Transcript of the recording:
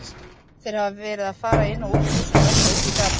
Þeir hafa verið að fara inn og út úr húsinu og eitthvað út í garð.